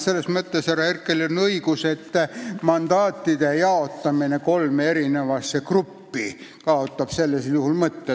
Selles mõttes on härra Herkelil õigus, et mandaatide jaotamine kolme eri rühma kaotab sellisel juhul mõtte.